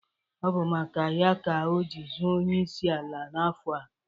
Ọ bụ maka ya ka o ji zọọ onyeisi ala n'afọ a.